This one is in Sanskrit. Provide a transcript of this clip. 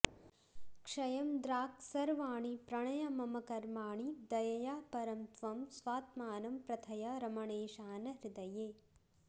क्षयं द्राक्सर्वाणि प्रणय मम कर्माणि दयया परं त्वं स्वात्मानं प्रथय रमणेशान हृदये